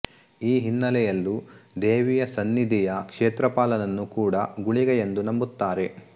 ಈ ಹಿನ್ನಲೆಯಲ್ಲೂ ದೇವಿಯ ಸನ್ನಿಧಿಯ ಕ್ಷೇತ್ರಪಾಲನನ್ನು ಕೂಡ ಗುಳಿಗ ಎಂದು ನಂಬುತ್ತಾರೆ